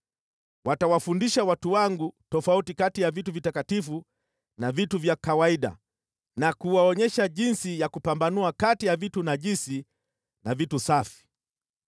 Watawafundisha watu wangu tofauti kati ya vitu vitakatifu na vitu vya kawaida na kuwaonyesha jinsi ya kupambanua kati ya vitu najisi na vitu safi.